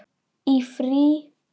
Í frí.